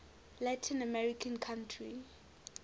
latin american country